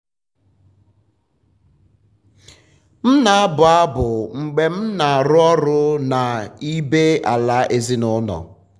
m na-abụ abụ mgbe m um na-arụ ọrụ na n'ibé-ala ezinụlọ.